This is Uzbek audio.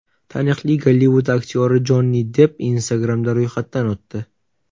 Taniqli Gollivud aktyori Jonni Depp Instagram’da ro‘yxatdan o‘tdi .